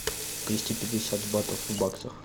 двести пятьдесят батов в баксах